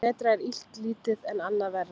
Betra er illt lítið en annað verra.